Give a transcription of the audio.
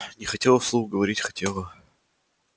не хотела вслух говорить хотела